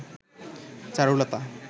Charulata